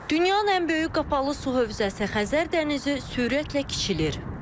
Dünyanın ən böyük qapalı su hövzəsi Xəzər dənizi sürətlə kiçilir.